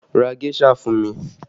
Ra géṣà fún mi!